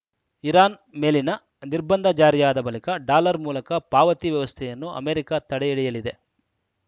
Iran ಮೇಲಿನ ನಿರ್ಬಂಧ ಜಾರಿಯಾದ ಬಳಿಕ ಡಾಲರ್‌ ಮೂಲಕ ಪಾವತಿ ವ್ಯವಸ್ಥೆಯನ್ನು ಅಮೆರಿಕ ತಡೆಹಿಡಿಯಲಿದೆ